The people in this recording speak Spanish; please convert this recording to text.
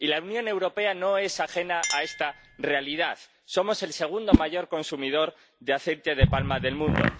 Y la Unión Europea no es ajena a esta realidad somos el segundo mayor consumidor de aceite de palma del mundo.